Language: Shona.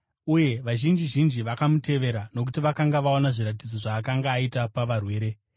uye vazhinji zhinji vakamutevera nokuti vakanga vaona zviratidzo zvaakanga aita pavarwere.